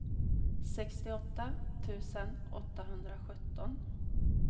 sextioåtta tusen åttahundrasjutton